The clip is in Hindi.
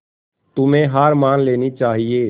तुम्हें हार मान लेनी चाहियें